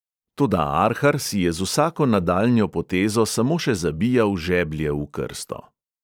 Toda arhar si je z vsako nadaljnjo potezo samo še zabijal žeblje v krsto.